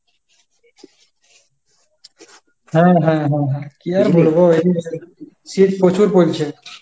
হ্যাঁ হ্যাঁ হ্যাঁ হ্যাঁ। কি আর বলবো, শীত প্রচুর পরছে।